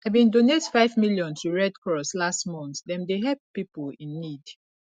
i bin donate five million to red cross last month dem dey help pipo in need